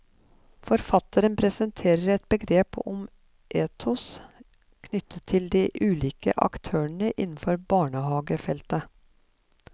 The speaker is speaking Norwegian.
Forfatteren presenterer et begrep om ethos knyttet til de ulike aktørene innenfor barnehagefeltet.